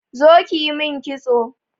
Zo ƙi ƴi min ƙitso.